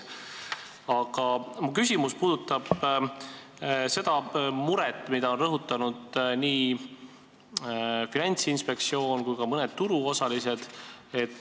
Aga mu küsimus puudutab seda muret, mida on rõhutanud nii Finantsinspektsioon kui ka mõned turuosalised.